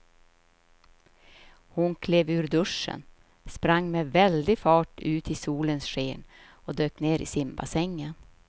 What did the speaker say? Hon klev ur duschen, sprang med väldig fart ut i solens sken och dök ner i simbassängen.